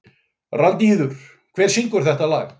Randíður, hver syngur þetta lag?